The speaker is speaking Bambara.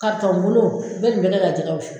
Kartɔn kolon bɛ nin bɛ kɛ ka jɛkɛ wus.